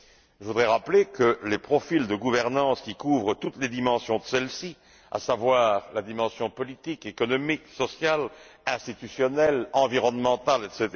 Je voudrais rappeler que les profils de gouvernance qui couvrent toutes les dimensions de celles ci, à savoir la dimension politique, économique, sociale, institutionnelle, environnementale, etc.